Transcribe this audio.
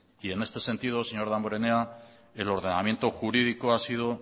en este sentido señor damborenea el ordenamiento jurídico ha sido